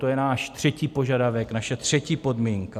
To je náš třetí požadavek, naše třetí podmínka.